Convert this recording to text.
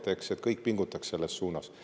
Kõik pingutama selles suunas.